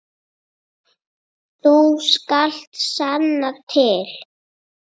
Þú skalt sanna til.